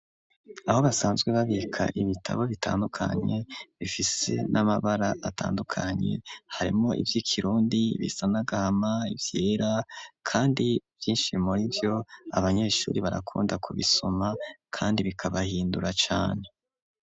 Aho basanzwe babika, ibitabo bitandukanye, bifise n'amabara, atandukanye; harimwo ivy'ikirundi, bisa n'agahama, ivyera, kandi vyinshi muri vyo, abanyeshuri, barakunda kubisoma, kandi bikabahindura cane.